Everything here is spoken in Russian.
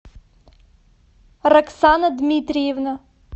роксана дмитриевна